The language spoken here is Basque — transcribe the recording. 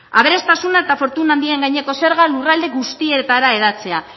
aberastasuna eta fortuna handien gaineko zerga lurralde guztietara hedatzea